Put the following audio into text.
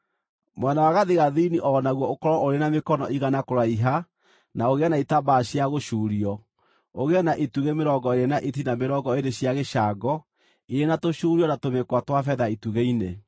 Mwena wa gathigathini o naguo ũkorwo ũrĩ na mĩkono igana kũraiha na ũgĩe na itambaya cia gũcuurio, ũgĩe na itugĩ mĩrongo ĩĩrĩ na itina mĩrongo ĩĩrĩ cia gĩcango, irĩ na tũcuurio na tũmĩkwa twa betha itugĩ-inĩ.